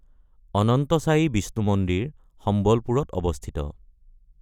অনন্তসায়ী বিষ্ণু মন্দিৰ সম্বলপুৰত অৱস্থিত।